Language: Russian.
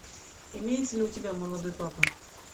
имеется ли у тебя молодой папа